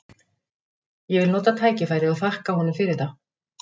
Ég vil nota tækifærið og þakka honum fyrir það.